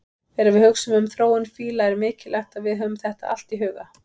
Þegar við hugsum um þróun fíla er mikilvægt að við höfum allt þetta í huga.